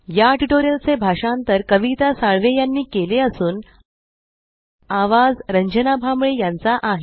या ट्यूटोरियल चे भाषांतर कविता साळवे यांनी केले असून आवाज रंजना भांबळे यांचा आहे